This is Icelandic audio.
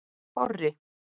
Þorri